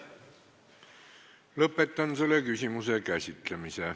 Lõpetan selle küsimuse käsitlemise.